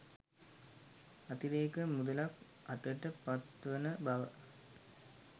අතිරේක මුදලක් අතට පත්වන බව